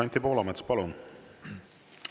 Anti Poolamets, palun!